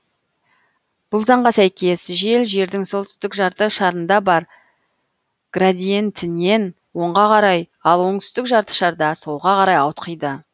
бұл заңға сәйкес жел жердің солтүстік жарты шарында бар градиентінен оңға карай ал оңтүстік жарты шарда солға қарай ауытқиды